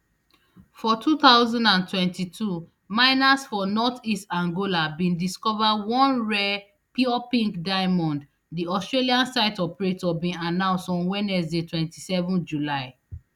for two thousand and twenty-two miners for northeast angola bin discova one rare pure pink diamond di australian site operator bin announce on wednesday twenty-seven july